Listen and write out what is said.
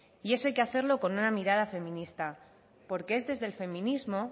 y eso hay que hacerlo con una mirada feminista porque es desde el feminismo